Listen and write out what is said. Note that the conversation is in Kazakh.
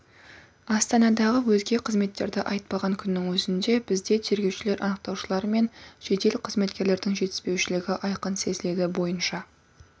астанадағы өзге қызметтерді айтпаған күннің өзінде бізде тергеушілер анықтаушылар мен жедел қызметкерлердің жетіспеушілігі айқын сезіледі бойынша